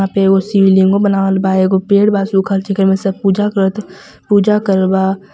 यहां पे एगो शिव लिंग बनावल बा एगो पेड़ बा सुखल जेकरे मे सब पूजा करत पूजा करत बा.